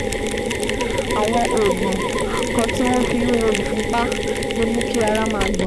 Àwọn oògùn kan tí wọ́n fi ń wo ìfúnpá lè mú kí ara máa gbọ̀n